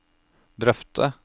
drøfte